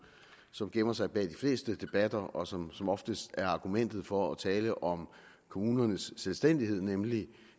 som gemmer sig bag de fleste debatter og som som oftest er argumentet for at tale om kommunernes selvstændighed nemlig